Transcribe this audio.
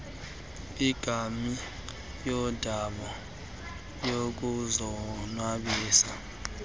ingabi yondawo yokuzonwabisa